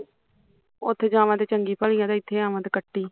ਉੱਥੇ ਹੋਵਾਂ ਤੇ ਚੰਗੀ ਭਲੀ ਆ ਜੇ ਇੱਥੇ ਆਵਾ ਤੇ ਕਤੀ